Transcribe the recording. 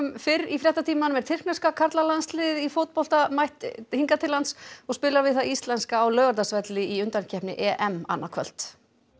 fyrr í fréttatímanum er tyrkneska karlalandsliðið í fótbolta mætt hingað til lands og spilar við það íslenska á Laugardalsvelli í undankeppni annað kvöld